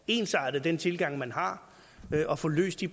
ensartet den tilgang man har og få løst de